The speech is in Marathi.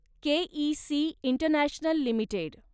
K E C International limited